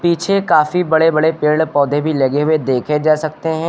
पीछे काफी बड़े बड़े पेड़ पौधे भी लगे हुए देखे जा सकते है।